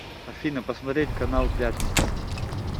афина посмотреть канал пятница